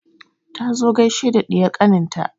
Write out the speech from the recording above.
Ta zo gaishe da ɗiyar ƙanin ta